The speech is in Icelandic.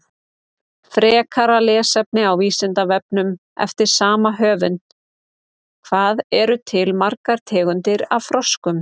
Frekara lesefni á Vísindavefnum eftir sama höfund: Hvað eru til margar tegundir af froskum?